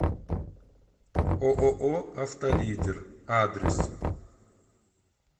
ооо авто лидер адрес